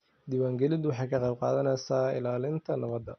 Diiwaangelintu waxay ka qayb qaadanaysaa ilaalinta nabadda.